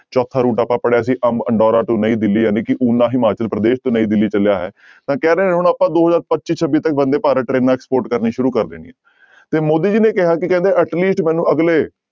ਚੌਥਾ route ਆਪਾਂ ਪੜ੍ਹਿਆ ਸੀ ਅੰਬਅਨਡੋਰਾ to ਨਈਂ ਦਿੱਲੀ ਜਾਣੀ ਕਿ ਓਨਾ ਹਿਮਾਚਲ ਪ੍ਰਦੇਸ਼ ਤੇ ਨਈਂ ਦਿੱਲੀ ਚੱਲਿਆ ਹੈ ਤਾਂ ਕਹਿ ਰਹੇ ਹੁਣ ਆਪਾਂ ਦੋ ਹਜ਼ਾਰ ਪੱਚੀ ਛੱਬੀ ਤੱਕ ਬੰਦੇ ਭਾਰਤ ਟਰੇਨਾਂ export ਕਰਨੀਆਂ ਸ਼ੁਰੂ ਕਰ ਦੇਣੀਆਂ ਤੇ ਮੋਦੀ ਜੀ ਨੇ ਕਿਹਾ ਸੀ ਕਹਿੰਦੇ at least ਮੈਨੂੰ ਅਗਲੇ